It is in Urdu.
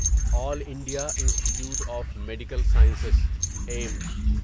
all India institute of medical sciences Ms